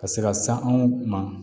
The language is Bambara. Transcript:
Ka se ka san anw ma